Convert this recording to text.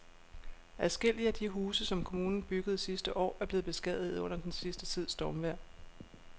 Adskillige af de huse, som kommunen byggede sidste år, er blevet beskadiget under den sidste tids stormvejr.